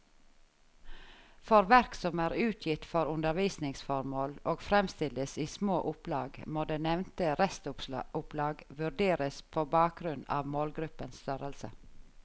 For verk som er utgitt for undervisningsformål og fremstilles i små opplag, må det nevnte restopplag vurderes på bakgrunn av målgruppens størrelse.